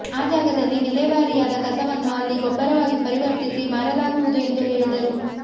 ಆ ಜಾಗದಲ್ಲಿ ವಿಲೇವಾರಿಯಾದ ಕಸವನ್ನು ಅಲ್ಲಿ ಗೊಬ್ಬರವಾಗಿ ಪರಿವರ್ತಿಸಿ ಮಾರಲಾಗುವುದು ಎಂದು ಹೇಳಿದರು